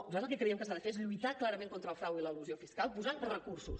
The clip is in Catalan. nosaltres el que creiem que s’ha de fer és lluitar clarament contra el frau i l’elusió fiscal posant recursos